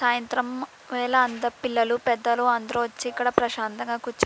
సాయంత్రం వేళ అంత పిల్లలు పెద్దలు అందరూ వచ్చి ఇక్కడ ప్రశాంతంగా కూర్చు --